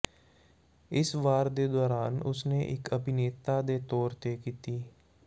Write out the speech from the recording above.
ਇਸ ਵਾਰ ਦੇ ਦੌਰਾਨ ਉਸ ਨੇ ਇੱਕ ਅਭਿਨੇਤਾ ਦੇ ਤੌਰ ਤੇ ਕੀਤੀ